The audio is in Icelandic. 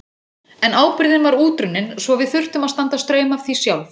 En ábyrgðin var útrunnin svo við þurftum að standa straum af því sjálf.